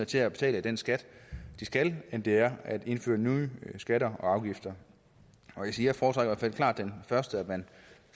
til at betale den skat de skal end det er at indføre nye skatter og afgifter jeg foretrækker i hvert fald klart det første at man